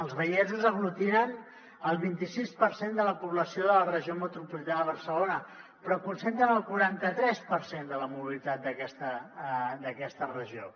els vallesos aglutinen el vint i sis per cent de la població de la regió metropolitana de barcelona però concentren el quaranta tres per cent de la mobilitat d’aquesta regió